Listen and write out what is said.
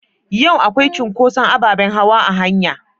Yau akwai cunkoson abaɓen hawa a hanua?